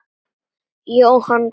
Jóhann glotti.